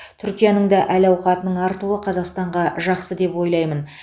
түркияның да әл ауқатының артуы қазақстанға жақсы деп ойлаймын